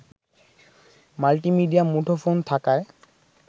multi media মুঠোফোন থাকায়